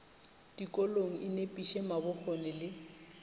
dikolong e nepiše mabokgone le